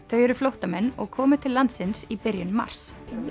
þau eru flóttamenn og komu til landsins í byrjun mars